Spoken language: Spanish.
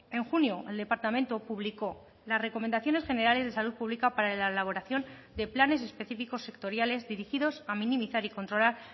en junio el departamento publicó las recomendaciones generales de salud pública para la elaboración de planes específicos sectoriales dirigidos a minimizar y controlar